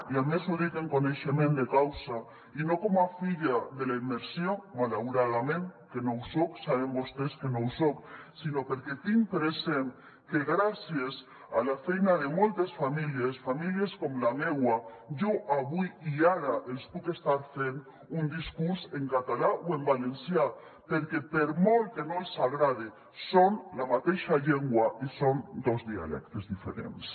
i a més ho dic amb coneixement de causa i no com a filla de la immersió malauradament que no ho soc saben vostès que no ho soc sinó perquè tinc present que gràcies a la feina de moltes famílies famílies com la meua jo avui i ara els puc estar fent un discurs en català o en valencià perquè per molt que no els agrade són la mateixa llengua i són dos dialectes diferents